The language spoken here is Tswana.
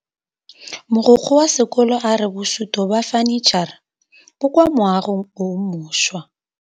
Mogokgo wa sekolo a re bosutô ba fanitšhara bo kwa moagong o mošwa.